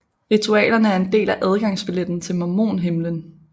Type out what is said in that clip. Ritualerne er en del af adgangsbilletten til mormonhimlen